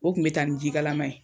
O kun be taa ni jikalama ye